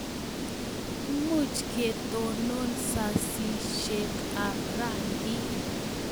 Much ketonon sasishet ab rangik